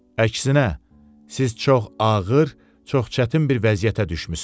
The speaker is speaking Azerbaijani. Əksinə, siz çox ağır, çox çətin bir vəziyyətə düşmüsünüz.